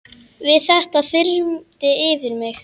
Við þetta þyrmdi yfir mig.